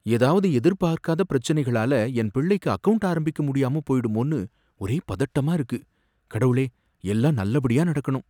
ஏதாவது எதிர்பாக்காத பிரச்சினைகளால என் பிள்ளைக்கு அக்கவுண்ட் ஆரம்பிக்க முடியாம போயிடுமோன்னு ஒரே பதட்டமா இருக்கு, கடவுளே! எல்லாம் நல்லபடியா நடக்கணும்.